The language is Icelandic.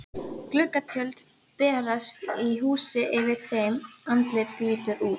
Gluggatjöld bærast í húsi yfir þeim, andlit lítur út.